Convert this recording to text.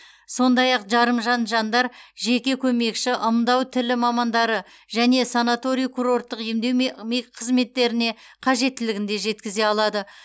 сондай ақ жарымжан жандар жеке көмекші ымдау тілі мамандары және санаторий курорттық емдеу қызметтеріне қажеттілігін де жеткізе алады